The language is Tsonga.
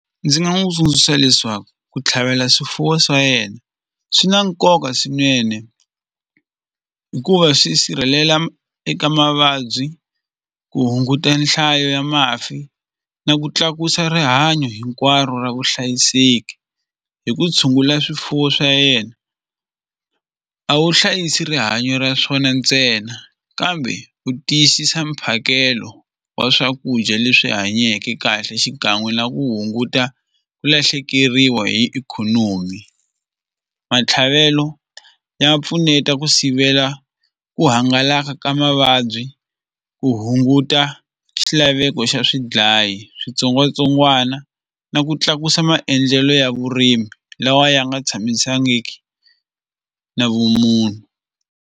Ndzi nga n'wu tsundzuxa leswaku ku tlhavela swifuwo swa yena swi na nkoka swinene hikuva swi sirhelela eka mavabyi ku hunguta nhlayo ya mafi na ku tlakusa rihanyo hinkwaro ra vuhlayiseki hi ku tshungula swifuwo swa yena a wu hlayisi rihanyo ra swona ntsena kambe u tiyisisa mphakelo wa swakudya leswi hanyeke kahle xikan'we na ku hunguta ku lahlekeriwa hi ikhonomi matlhavelo ya pfuneta ku sivela ku hangalaka ka mavabyi ku hunguta xilaveko xa swidlayi switsongwatsongwana na ku tlakusa maendlelo ya vurimi lawa ya nga tshamisangiki na vumunhu.